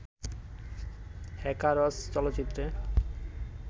hackers চলচ্চিত্রে